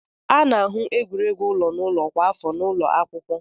A na-ahụ egwuregwu ụlọ n'ụlọ kwa afọ n'ụlọ akwụkwọ.